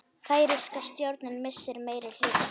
Færeyska stjórnin missir meirihluta